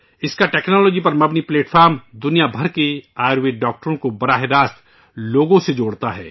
اس کا ٹیکنالوجی پر مبنی پلیٹ فارم دنیا بھر کے آیوروید ڈاکٹروں کو براہ راست لوگوں سے جوڑتا ہے